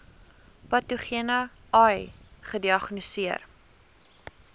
patogene ai gediagnoseer